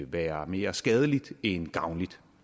være mere skadeligt end gavnligt